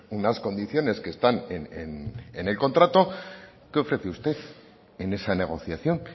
unas condiciones que están en el contrato qué ofrece usted en esa negociación